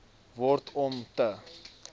word om te